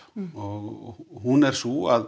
og hún er sú að